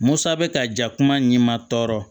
Musa bɛ ka ja kuma min ma tɔɔrɔ